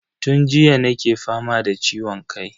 Tun jiya nake fama da ciwon kai.